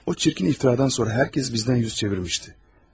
O çirkin iftiradan sonra hər kəs bizdən yüz çevirmişdi.